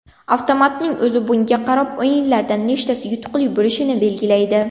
Avtomatning o‘zi bunga qarab o‘yinlardan nechtasi yutuqli bo‘lishini belgilaydi.